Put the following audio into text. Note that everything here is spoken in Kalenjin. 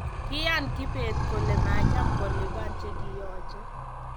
Kiyan kibet kole macham kolipani chikiyache